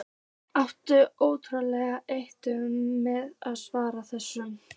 Átti ótrúlega erfitt með að svara þessu.